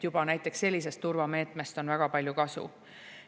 Juba näiteks sellisest turvameetmest on väga palju kasu.